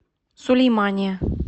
сулеймания